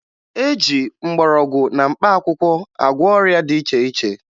E ji mgbọrọgwụ na mkpaakwụkwọ agwọ ọrịa dị iche iche